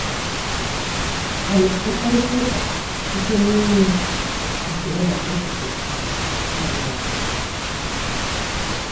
Ha mechiri mkparịta ụka site n'inwe ekele maka echiche ibe ya.